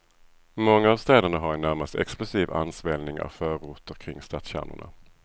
Många av städerna har en närmast explosiv ansvällning av förorter kring stadskärnorna.